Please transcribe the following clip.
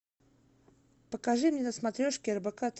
покажи мне на смотрешке рбк